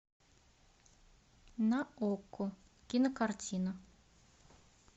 на окко кинокартина